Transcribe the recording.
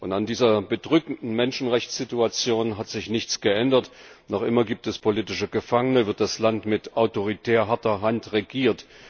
An dieser bedrückenden Menschenrechtssituation hat sich nichts geändert Noch immer gibt es politische Gefangene und wird das Land mit autoritär harter Hand regiert.